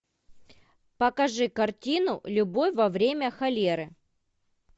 покажи картину любовь во время холеры